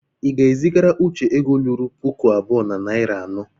ị ga- eziagara uche ego lụrụ pụkụ abụọ na nari anọ